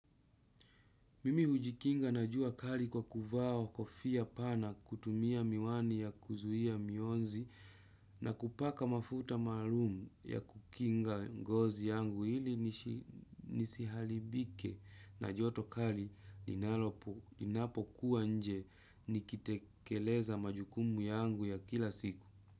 Mimi hujikinga na jua kali kwa kuvaa kofia pana kutumia miwani ya kuzuia miunzi na kupaka mafuta maalum ya kukinga ngozi yangu ili isiharibike na joto kali linalolo linapokuwa nje nikitekeleza majukumu yangu ya kila siku.